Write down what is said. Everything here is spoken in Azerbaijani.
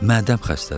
Mədəm xəstədir.